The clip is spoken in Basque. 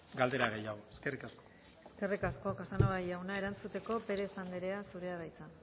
galdera gehiago eskerrik asko eskerrik asko casanova jauna erantzuteko perez andrea zurea da hitza